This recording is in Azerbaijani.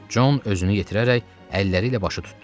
Con özünü yetirərək əlləri ilə başı tutdu.